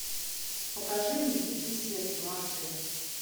покажи мне дикие сердцем аш дэ